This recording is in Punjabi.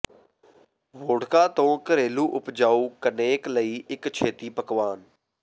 ਵੋਡਕਾ ਤੋਂ ਘਰੇਲੂ ਉਪਜਾਊ ਕੰਨੇਕ ਲਈ ਇੱਕ ਛੇਤੀ ਪਕਵਾਨ